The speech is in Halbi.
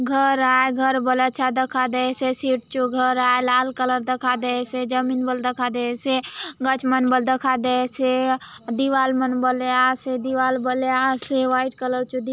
घर आय घर बले अच्छा दखा देयसे सीट चो घर आय लाल कलर दखा देयसे जमीन बले दखा देयसे गच मन बले दखा देयसे दीवार मन बले आसे दीवार बले आसे वाइट कलर जो दी--